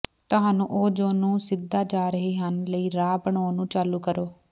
ਤੁਹਾਨੂੰ ਉਹ ਜੋ ਨੂੰ ਸਿੱਧਾ ਜਾ ਰਹੇ ਹਨ ਲਈ ਰਾਹ ਬਣਾਉਣ ਨੂੰ ਚਾਲੂ ਕਰੋ